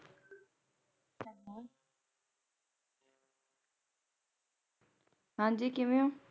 ਹਾਂਜੀ ਕਿਵੇਂ ਹੋ?